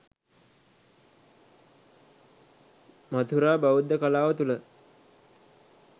මථුරා බෞද්ධ කලාව තුළ